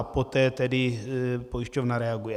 A poté tedy pojišťovna reaguje.